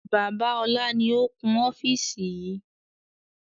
Bàbá ọlá ni ó kún ofiisi yìí